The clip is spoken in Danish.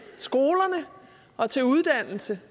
skoler og til uddannelser det